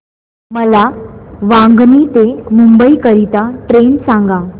मला वांगणी ते मुंबई करीता ट्रेन सांगा